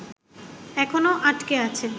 এখনও আটকে আছেন